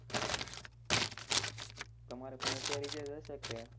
તમારે પણ અત્યારે એજ હસે ક્યાં